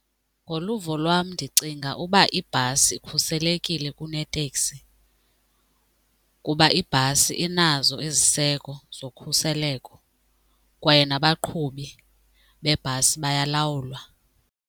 Ngoluvo lwam ndicinga uba ibhasi ikhuselekile kuneteksi kuba ibhasi inazo iziseko zokhuseleko kwaye nabaqhubi bebhasi bayalawulwa.